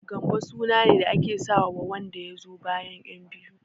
Gambo sunane da ake sawa wanda yazo bayan ƴan biyu.